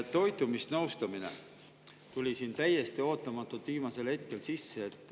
Toitumisnõustamine tuli täiesti ootamatult viimasel hetkel siia sisse.